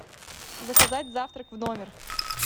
заказать завтрак в номер